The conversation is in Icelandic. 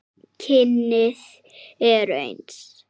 Kynin eru eins.